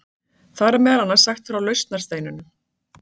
Þar er meðal annars sagt frá lausnarsteininum.